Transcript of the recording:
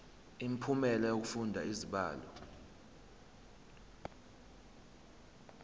imiphumela yokufunda izibalo